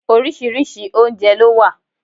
Oríṣiríṣi oúnjẹ ló wà